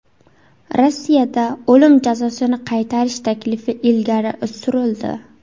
Rossiyada o‘lim jazosini qaytarish taklifi ilgari surildi.